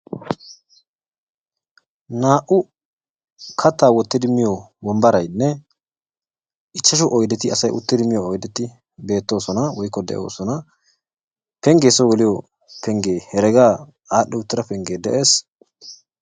naa"u kattaa wottidi miyo wombbaraynne ichchashu oyideti asay uttidi miyo oyideti beettoosona woykko de'oosona. pengge soo geliyo pengge heregaa adhdhi uttida pengge de'es.